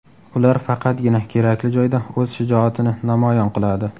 Ular faqatgina kerakli joyda o‘z shijoatini namoyon qiladi.